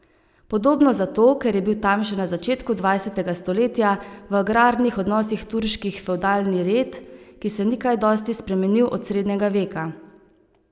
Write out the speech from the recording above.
Podobno zato, ker je bil tam še na začetku dvajsetega stoletja v agrarnih odnosih turški fevdalni red, ki se ni kaj dosti spremenil od srednjega veka.